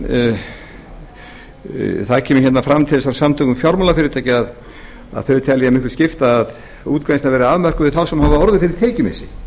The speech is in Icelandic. verði flaustursleg það kemur hérna fram til dæmis frá samtökum fjármálafyrirtækja að þau telja það miklu skipta að útgreiðslan verði afmörkuð við þá sem hafa orðið fyrir tekjumissi